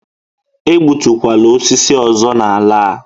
E gbutukwala osisi ọzọ n'ala a!